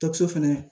Dɔkitɛriso fɛnɛ